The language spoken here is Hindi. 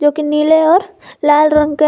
एक नील और लाल रंग के ह--